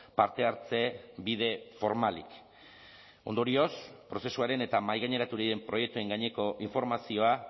parte hartze bide formalik ondorioz prozesuaren eta mahaigaineratu diren proiektuen gaineko informazioa